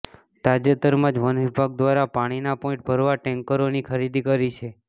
તાજેતરમાં જ વનવિભાગ દ્વારા પાણીના પોઈન્ટ ભરવા ટેન્કરોની ખરીદી કરી છે